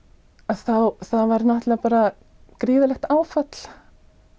þá var bara gríðarlegt áfall